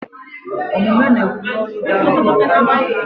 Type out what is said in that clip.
Omume na-ekwu n'olu dara ụda karịa okwu.